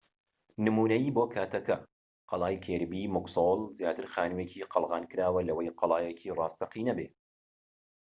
نمونەیی بۆ کاتەکە قەڵای کیربی موکسۆل زیاتر خانوویەکی قەڵغانکراوە لەوەی قەڵایەکی ڕاستەقینە بێت